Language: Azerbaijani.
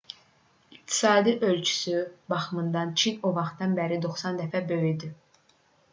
i̇qtisadi ölçüsü baxımından çin o vaxtdan bəri 90 dəfə böyüdü